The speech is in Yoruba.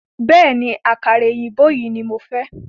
Bẹ̀ẹ́ni, àkàrà òyìnbó yìí ní mo fẹ́.